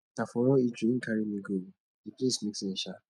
na for one eatery im carry me go o di place make sense shaa